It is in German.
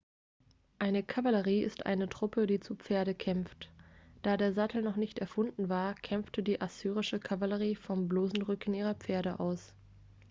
eine kavallerie ist eine truppe die zu pferde kämpft da der sattel noch nicht erfunden war kämpfte die assyrische kavallerie vom bloßen rücken ihrer pferde aus